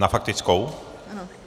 Na faktickou?